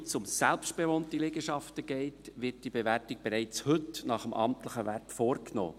Soweit es um selbstbewohnte Liegenschaften geht, wird die Bewertung bereits heute nach dem amtlichen Wert vorgenommen.